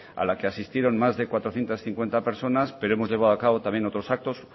a la que asistieron más que cuatrocientos cincuenta personas pero hemos llevado a cabo también otros actos